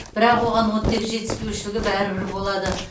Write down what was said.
бірақ оған оттегі жетіспеушілігі бәрібір болады